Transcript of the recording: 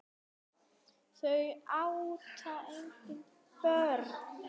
Þau áttu engin börn.